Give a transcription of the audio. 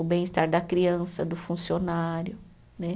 O bem-estar da criança, do funcionário né.